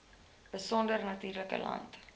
besonder natuurlike land